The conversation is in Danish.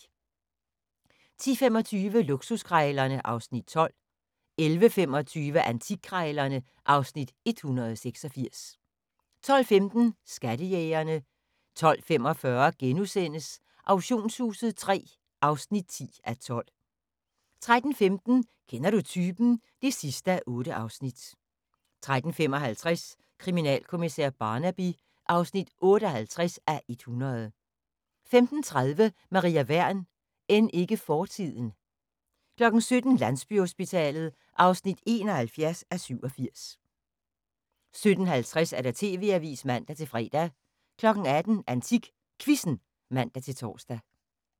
10:25: Luksuskrejlerne (Afs. 12) 11:25: Antikkrejlerne (Afs. 186) 12:15: Skattejægerne 12:45: Auktionshuset III (10:12)* 13:15: Kender du typen? (8:8) 13:55: Kriminalkommissær Barnaby (58:100) 15:30: Maria Wern: End ikke fortiden 17:00: Landsbyhospitalet (71:87) 17:50: TV-avisen (man-fre) 18:00: AntikQuizzen (man-tor)